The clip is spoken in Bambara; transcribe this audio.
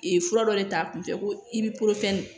fura dɔ de ta kunfɛ ko i bi